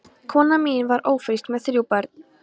Konan mín var ófrísk með þrjú börn.